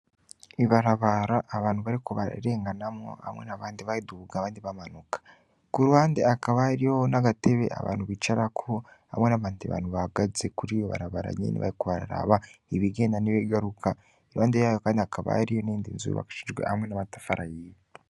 Ibarabara abantu bariko bararenganamwo hamwe n'abandi bariduga abandi bamanuka. Ku ruhande hakaba hariho n'agatebe abantu bicarako hamwe n'abandi bantu bahagaze kuriryo barabara nyene bariko bararaba ibigenda n'ibigaruka. Iruhande yaho kandi hakaba hari iyindi inzu yubakishijwe hamwe n'amatafari ahiye.